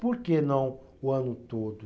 Por que não o ano todo?